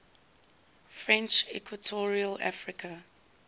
french equatorial africa